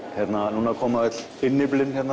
núna koma öll innyflin